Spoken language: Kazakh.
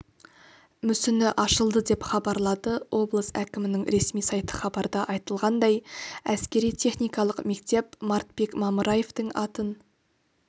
мүсіні ашылды деп хабарлады облыс әкімінің ресми сайты хабарда айтылғандай әскери-техникалық мектеп мартбек мамыраевтің атын